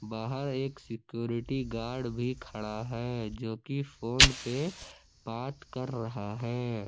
बाहर एक security guard भी खड़ा है जो कि फोन पे बात कर रहा है।